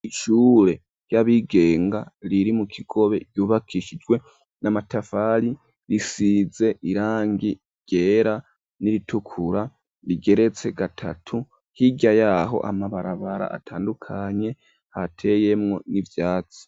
Ishure ry'abigenga riri mu Kigobe yubakishijwe n'amatafali risize irangi ryera n'iritukura rigeretse gatatu hirya yaho amabarabara atandukanye hateyemwo n'ivyatsi.